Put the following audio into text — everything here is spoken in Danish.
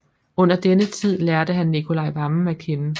Under denne tid lærte han Nicolai Wammen at kende